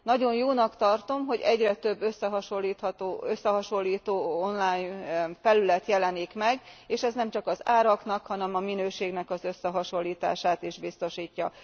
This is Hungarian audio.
Nagyon jónak tartom, hogy egyre több összehasonlító online felület jelenik meg, és ez nemcsak az áraknak, hanem a minőségnek az összehasonlítását is biztosítja.